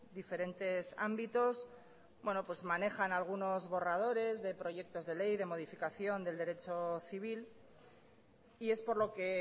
diferentes ámbitos manejan algunos borradores de proyectos de ley de modificación del derecho civil y es por lo que